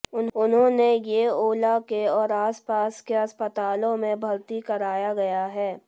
उन्होंने येओला के और आसपास के अस्पतालों में भर्ती कराया गया है